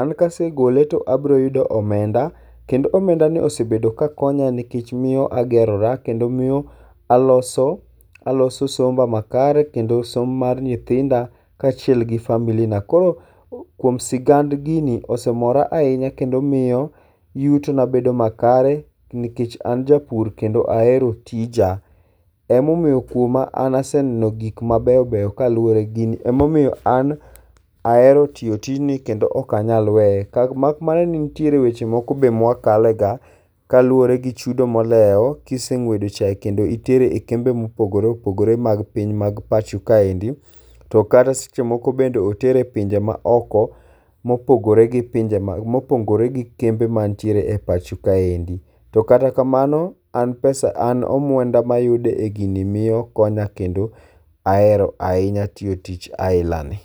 an ka asegole to abiro yudo omenda. Kendo omendani osebedo ka konya nikech miyo kagerora kendo miyo alos aloso somba makare kendo som mar nyithinda kaachiel kod familina. Koro kuom sigand gini osemora ahinya kendo miyo yutona bedo makare nikech an japur kendo ahero tija. Emomiyo kuoma anaseneno gik mabeyo beyo kaluwore gi gini. Emomiyo an ahero tiyo tijno kendo ok anyal weye. Mak mana ni nitie weche moko be ma wakale ga kaluwore gi chudo molewo. Kise ng'wedo chae kendo itero e kembe mopogore opogore mag piny mag pacho kaendi to kata seche moko bende otere e pinje maoko mopogore gi kembe mantiere e pacho kaendi. To kata kamano, an pes an omenda mayudo en gini miyo konya kendo ahero ahinya tiyo tich ainani.